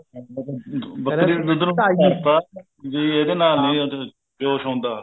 ਬੱਕਰੀ ਦੇ ਦੁੱਧ ਨੂੰ ਪਿੱਤਾ ਵੀ ਇਹਦੇ ਨਾਲ ਨੀ ਜੋਸ਼ ਹੁੰਦਾ